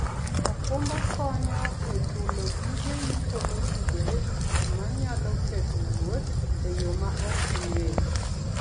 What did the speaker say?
okumba konyo e chulo gige yuto motudore gi gik ma nyalo ketho wuoth e yo ma ok igeno.